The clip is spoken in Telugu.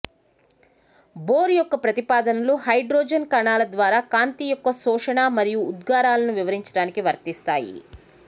బోర్ యొక్క ప్రతిపాదనలు హైడ్రోజన్ కణాల ద్వారా కాంతి యొక్క శోషణ మరియు ఉద్గారాలను వివరించడానికి వర్తిస్తాయి